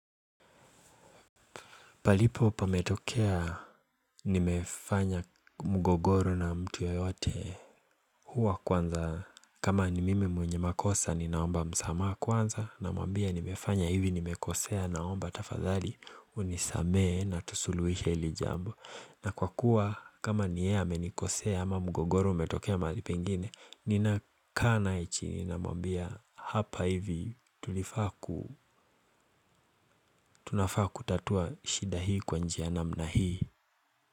Palipo pametokea nimefanya mgogoro na mtu yeyote huwa kwanza kama ni mimi mwenye makosa ninaomba msamaha kwanza namwambia nimefanya hivi nimekosea naomba tafadhali unisamee na tusuluhishe hili jambo. Na kwa kuwa kama ni yeye amenikosea ama mgogoro umetokea mahali pengine ninakaa naye chini namwambia hapa hivi tulifaa ku tunafaa kutatua shida hii kwa njia namna hii.